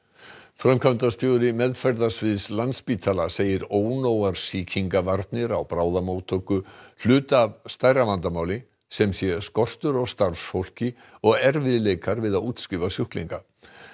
framkvæmdastjóri meðferðarsviðs Landspítala segir ónógar sýkingavarnir á bráðamóttöku hluta af stærra vandamáli sem sé skortur á starfsfólki og erfiðleikar við að útskrifa sjúklinga